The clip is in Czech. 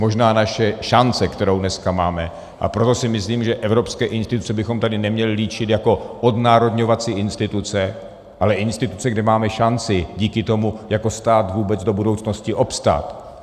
Možná naše šance, kterou dneska máme, a proto si myslím, že evropské instituce bychom tady neměli líčit jako odnárodňovací instituce, ale instituce, kde máme šanci díky tomu jako stát vůbec do budoucnosti obstát.